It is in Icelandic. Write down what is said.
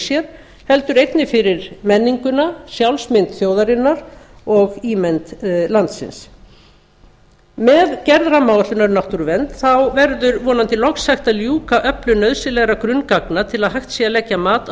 sér heldur einnig fyrir menninguna sjálfsmynd þjóðarinnar og ímynd landsins með gerð rammaáætlunar um náttúruvernd verður vonandi loks hægt að ljúka öflun nauðsynlegra grunngagna til að hægt sé að leggja mat á